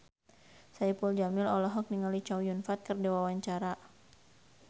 Saipul Jamil olohok ningali Chow Yun Fat keur diwawancara